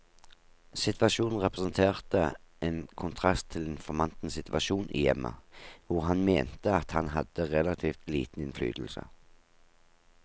Situasjonen representerte en kontrast til informantens situasjon i hjemmet, hvor han mente at han hadde relativt liten innflytelse.